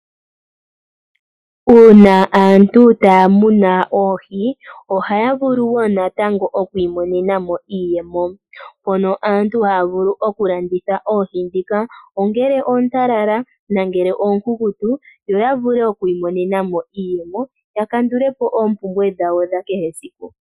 Uuna aantu taya munu oohi ohaya vulu wo natango oku imonena mo iiyemo, mpono aantu haya vulu oku landitha oohi ndhika, ongele oontalala nongele oonkunkutu, yo ya vule oku imonena mo iiyemo ya kandule po oompumbwe dhawo dha kehe esiku.